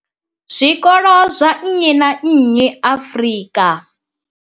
zwikolo zwa nnyi na nnyi Afrika.